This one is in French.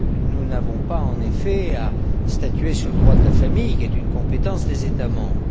Nous n'avons pas, en effet, à statuer sur le droit de la famille, qui est une des compétences des États membres.